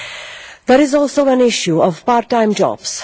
There is also an issue of part time jobs.